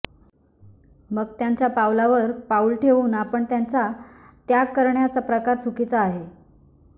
मग त्यांच्या पावलावर पाऊल ठेवून आपण त्याचा त्याग करण्याचा प्रकार चुकीचा आहे